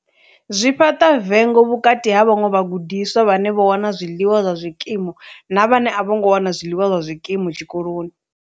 Zwi fhaṱa vengo vhukati ha vhaṅwe vhagudiswa vhane vho wana zwiḽiwa zwa zwikimu na vhane a vho ngo wana zwiḽiwa zwa zwikimu tshikoloni.